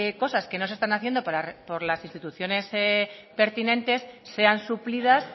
cosas que no se están haciendo por las instituciones pertinentes sean suplidas